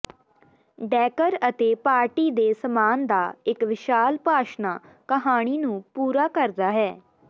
decker ਅਤੇ party ਦੇ ਸਾਮਾਨ ਦਾ ਇਕ ਵਿਸ਼ਾਲ ਭਾਸ਼ਣਾ ਕਹਾਣੀ ਨੂੰ ਪੂਰਾ ਕਰਦਾ ਹੈ